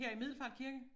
Her i Middelfart Kirke?